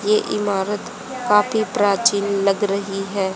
ये इमारत काफी प्राचीन लग रही है।